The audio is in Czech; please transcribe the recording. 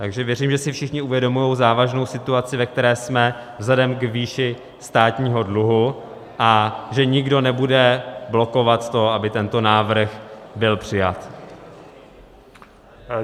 Takže věřím, že si všichni uvědomují závažnou situaci, ve které jsme vzhledem k výši státního dluhu, a že nikdo nebude blokovat to, aby tento návrh byl přijat.